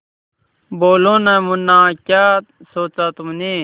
बोलो न मुन्ना क्या सोचा तुमने